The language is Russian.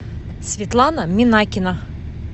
светлана минакина